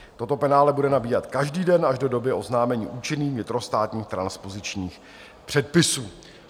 Toto penále bude nabíhat každý den až do doby oznámení účinných vnitrostátních transpozičních předpisů.